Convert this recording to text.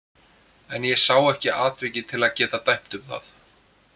En ég sá ekki atvikið til að geta dæmt um það.